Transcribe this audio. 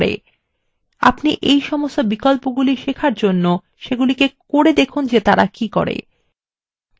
আপনি এই সমস্ত বিকল্পগুলি শেখার জন্য করে দেখুন তারা কি করে